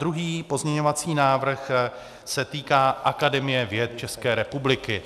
Druhý pozměňovací návrh se týká Akademie věd České republiky.